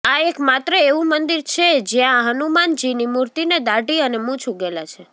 આ એક માત્ર એવું મંદિર છે જેયા હનુમાનજીની મુર્તિને દાઢી અને મૂછ ઉગેલા છે